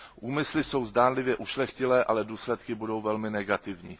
Úmysly jsou zdánlivě ušlechtilé, ale důsledky budou velmi negativní.